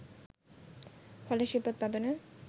ফলে শিল্পোৎপাদনে